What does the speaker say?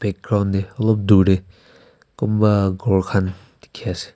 ground deh olop dur teh kunba ghor khan dikhi ase.